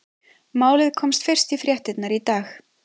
Málið komst fyrst í fréttirnar í dag.